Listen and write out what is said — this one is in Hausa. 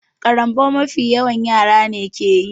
Ciwon ƙarambau mafi yawa yara ne keyi